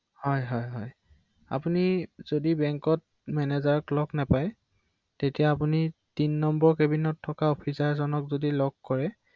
অ